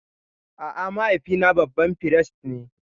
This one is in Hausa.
A'a, mahaifina babban firist ne.